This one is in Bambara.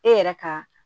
E yɛrɛ ka